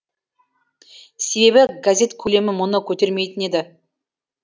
себебі газет көлемі мұны көтермейтін еді